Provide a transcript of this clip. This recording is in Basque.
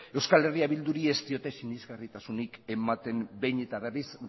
eh bilduri ez diote sinesgarritasunik ematen behin eta berriz